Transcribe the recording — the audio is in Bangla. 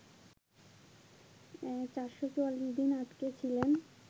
৪৪৪ দিন আটকে ছিলেন